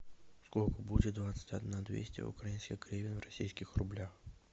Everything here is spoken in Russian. сколько будет двадцать одна двести украинских гривен в российских рублях